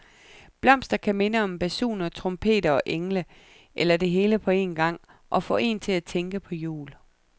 Blomster kan minde om basuner, trompeter og engle, eller det hele på en gang, og få en til at tænke på jul.